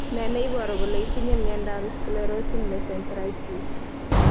N e ne iporu kole itinye miondap sclerosing mesenteritis?